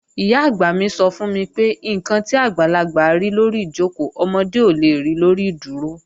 Ìyá-àgbà mi sọ fún mi pé, "ǹkan tí àgbàlagbà rí lórí ìjòkó, ọmọdé ò le ri lórí ìdúró"